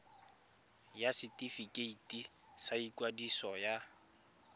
ya setefikeiti sa ikwadiso ya